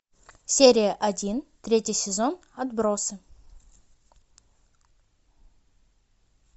серия один третий сезон отбросы